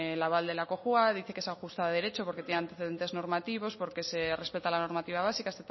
el aval de la cojua dice que se ajusta a derecho porque tiene antecedentes normativos porque se respeta la normativa básica